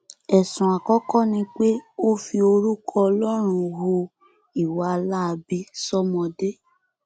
ẹsùn àkọkọ ni pé ó fi orúkọ ọlọrun hu ìwà láabi sọmọdé